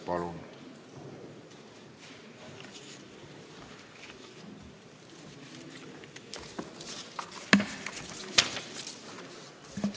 Palun!